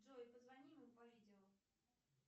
джой позвони ему по видео